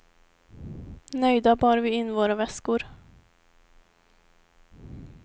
Nöjda bar vi in våra väskor.